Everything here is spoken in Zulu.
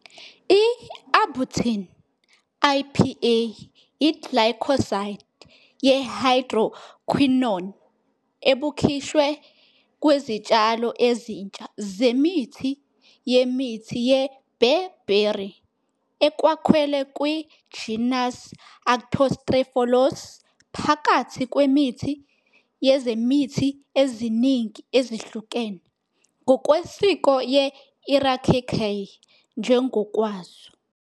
U-Arbutin, IPA, iglycoside ye hydroquinone ebukhishwe kwezityalo ezintsha zemithi yemithi yebearberry ekwakhelwe kwi genus "Arctostaphylos", phakathi kwemithi yezemithi eziningi ezihlukene, ngokwesiko yeEricaceae njengokwazo.